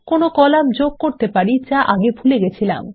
কোনো কলাম যোগ করতে পারি যা আগে ভুলে গেছিলাম